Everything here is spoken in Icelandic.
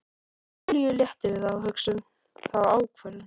Júlíu léttir við þá hugsun, þá ákvörðun.